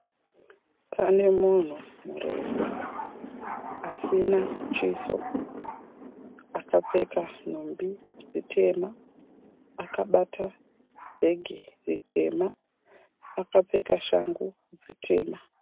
Pane munhu murefu asina chiso. Akapfeka nhumbi dzitema, akabata bhegi ritema, akapfeka shangu dzitema.